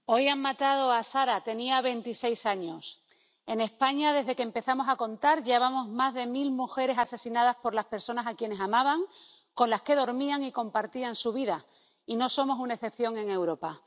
Señor presidente, hoy han matado a Sara, tenía 26 años. En España, desde que empezamos a contar, llevamos más de mil mujeres asesinadas por las personas a quienes amaban, con las que dormían y compartían su vida, y no somos una excepción en Europa.